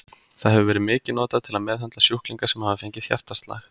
Það hefur verið mikið notað til að meðhöndla sjúklinga sem hafa fengið hjartaslag.